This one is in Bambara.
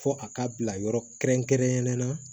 Fɔ a ka bila yɔrɔ kɛrɛnkɛrɛnnen na